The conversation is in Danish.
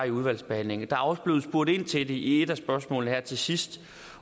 i udvalgsbehandlingen og også blevet spurgt ind til det i et af spørgsmålene her til sidst